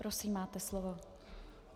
Prosím, máte slovo.